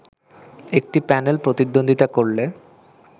একটি প্যানেল প্রতিদ্বন্দ্বিতা করলে